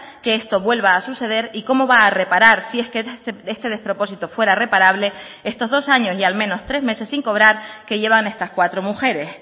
que esto vuelva a suceder y cómo va a reparar si es que este despropósito fuera reparable estos dos años y al menos tres meses sin cobrar que llevan estas cuatro mujeres